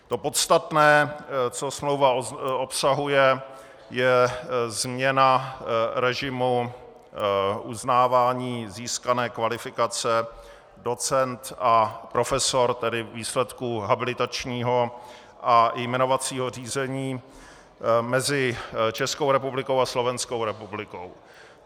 To podstatné, co smlouva obsahuje, je změna režimu uznávání získané kvalifikace docent a profesor, tedy výsledků habilitačního a jmenovacího řízení mezi Českou republikou a Slovenskou republikou.